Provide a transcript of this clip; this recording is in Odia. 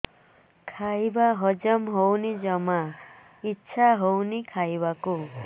ଖାଇବା ହଜମ ହଉନି ଜମା ଇଛା ହଉନି ଖାଇବାକୁ